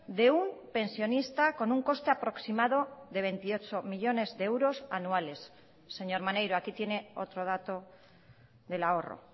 de un pensionista con un coste aproximado de veintiocho millónes de euros anuales señor maneiro aquí tiene otro dato del ahorro